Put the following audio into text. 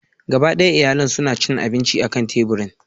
Gaba ɗaya iyalin suna cin abinci akan teburin.